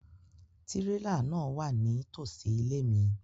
Tirela náa wa nitosi ile mi